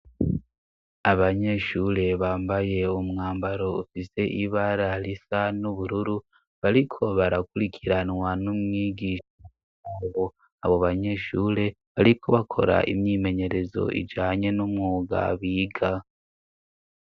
Abanyeshure bambaye umwambaro ufise ibara hrisa n'ubururu bariko barakurikiranwa n'umwigisha ungo abo banyeshure bariko bakora imyimenyerezo ijanye n'umwuga biga.